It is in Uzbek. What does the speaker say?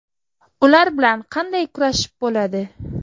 Ular bilan qanday kurashib bo‘ladi?!